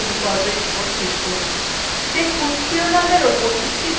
দেখুন শিরোনামের উপর একটি তীর চিহ্ন এসেছে